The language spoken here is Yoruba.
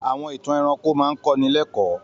Àwọn ìtàn ẹranko máa ń kọ́ni lẹ́kọ̀ọ́.